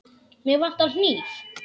Mig vantar hníf.